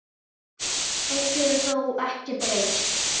Eitt hefur þó ekki breyst.